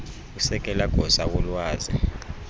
usekela gosa wolwazi